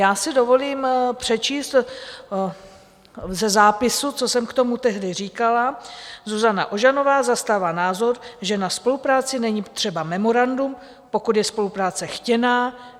Já si dovolím přečíst ze zápisu, co jsem k tomu tehdy říkala: "Zuzana Ožanová zastává názor, že na spolupráci není třeba memorandum, pokud je spolupráce chtěná.